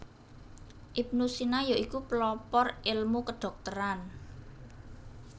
Ibnu Sina ya iku pelopor elmu kedhokteran